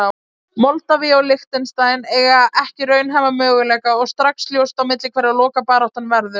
Moldavía og Liechtenstein eiga ekki raunhæfa möguleika og strax ljóst á milli hverra lokabaráttan verður.